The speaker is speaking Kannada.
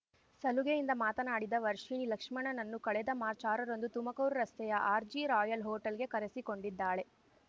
ಸಲುಗೆಯಿಂದ ಮಾತನಾಡಿದ ವರ್ಷಿಣಿ ಲಕ್ಷ್ಮಣನನ್ನು ಕಳೆದ ಮಾರ್ಚ್ ಆರ ರಂದು ತುಮಕೂರು ರಸ್ತೆಯ ಆರ್ಜಿ ರಾಯಲ್ ಹೊಟೇಲ್‌ಗೆ ಕರೆಸಿಕೊಂಡಿದ್ದಾಳೆ